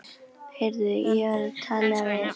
Heyrðu, ég var að tala við